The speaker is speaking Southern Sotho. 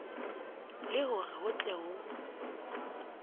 le hore ho tle ho